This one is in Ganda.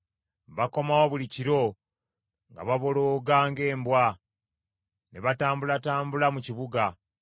Bakomawo buli kiro, nga babolooga ng’embwa, ne batambulatambula mu kibuga.